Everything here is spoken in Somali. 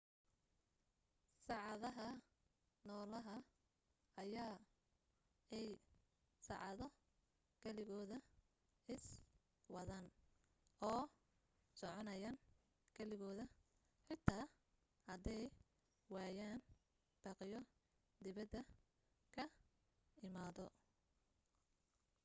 saacadaha nolaha ayaa ay saacado keligooda iswadaan oo soconayaan keligooda xitaa haday waayaan baaqyo dibadda ka imaado